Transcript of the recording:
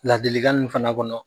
Ladilikan nun fana kɔnɔ